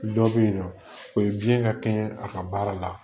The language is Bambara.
Dɔ bɛ yen nɔ o ye biyɛn ka kɛ a ka baara la